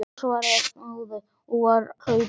Já, svaraði snáðinn og var hlaupinn.